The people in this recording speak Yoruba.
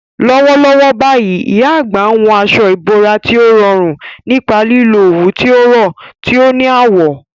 Lọ́wọ́lọ́wọ́ báyìí, ìyá àgbà ń hun aṣọ ìbora tí ó rọrùn nípa lílo òwú tó rọ̀, tí ó ní àwọ̀.